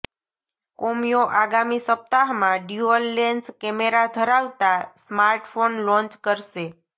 Comio આગામી સપ્તાહમાં dual lens camera ધરાવતા સ્માર્ટફોન લોન્ચ કરશે